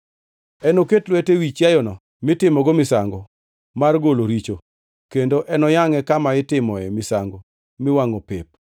Enoket lwete ewi chiayono mitimogo misango mar golo richo, kendo enoyangʼe kama itimoe misango miwangʼo pep.